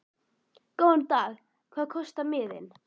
Góðan dag. Hvað kostar miðinn?